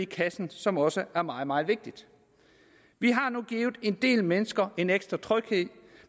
kassen som også er meget meget vigtigt vi har nu givet en del mennesker en ekstra tryghed